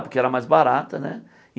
Porque era mais barata, né?